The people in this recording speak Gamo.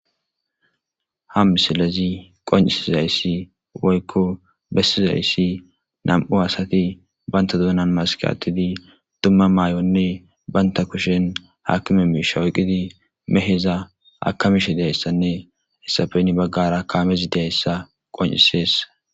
Ha misilezi qoncisizayssi woykko bessizayssi nam'u asati banta duunan maskatidi tumma maay'onne banta kushen hakime mishawqidi meheza akamishe deyssanne hisafeni baggara kaamezi deyssa qoncisees.